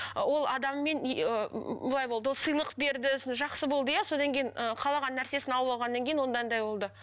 ы ол адаммен былай болды ол сыйлық берді сосын жақсы болды иә содан кейін ы қалаған нәрсесін алып алғаннан кейін онда андай болды